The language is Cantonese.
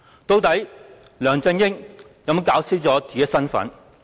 究竟梁振英有否弄清楚自己的身份？